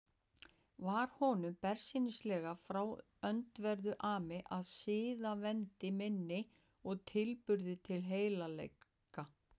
Var honum bersýnilega frá öndverðu ami að siðavendni minni og tilburðum til heilagleika.